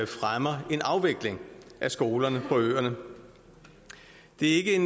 fremmer en afvikling af skolerne på øerne det er ikke